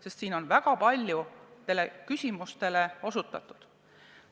Sest siin on väga paljudele küsimustele osutatud.